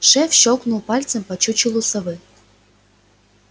шеф щёлкнул пальцем по чучелу совы